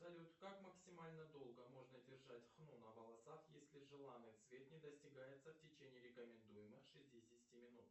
салют как максимально долго можно держать хну на волосах если желанный цвет не достигается в течение рекомендуемых шестидесяти минут